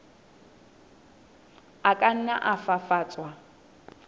a ka nna a fafatswa